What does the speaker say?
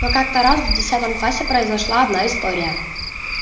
но как-то раз в десятом классе произошла одна история